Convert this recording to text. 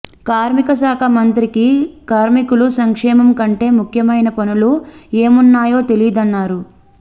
కార్మిక శాఖ మంత్రికి కార్మికుల సంక్షేమం కంటే ముఖ్యమైన పనులు ఏమున్నాయో తెలీదన్నారు